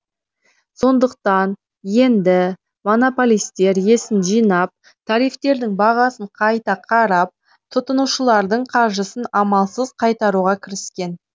сондықтан енді монополистер есін жинап тарифтердің бағасын қайта қарап тұтынушылардың қаржысын амалсыз қайтаруға кіріскен